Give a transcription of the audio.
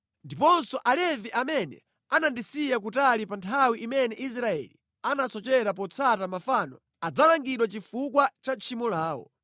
“Ndiponso Alevi amene anandisiya kutali pa nthawi imene Israeli anasochera potsata mafano, adzalangidwa chifukwa cha tchimo lawo.